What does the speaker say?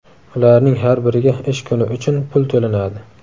Ularning har biriga ish kuni uchun pul to‘lanadi.